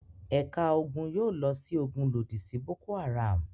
Ẹ̀ka ogun yóò lọ sójú ogun lòdì sí Boko-Haram.